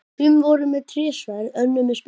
Sum voru með trésverð, önnur með spýtur.